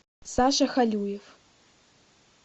саша халюев